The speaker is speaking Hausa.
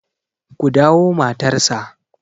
ku dawo matarsa!